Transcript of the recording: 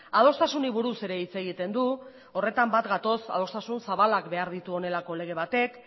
adostasunei buruz ere hitz egiten du horretan bat gatoz adostasun zabalak behar dituela honelako lege batek